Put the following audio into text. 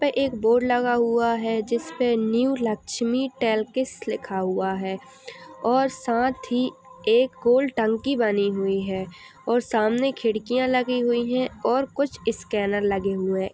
एक बोर्ड लगा हुआ है जिसपे न्यू लक्ष्मी लिखा हुआ है और साथ ही एक गोल टंकी बनी हुई है और सामने खिड़कियां लगी हुई हैं और कुछ स्कैनर लगे हुए --